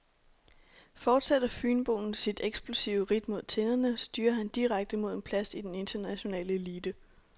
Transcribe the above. Fortsætter fynboen sit eksplosive ridt mod tinderne, styrer han direkte mod en plads i den internationale elite.